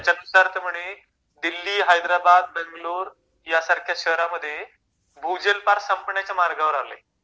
त्याचयानुसार ते म्हणे दिल्ली हैद्राबाद बॅगलोर यासारख्या शहर मध्ये भूजल पार संपणाच्या मार्गावर आलंय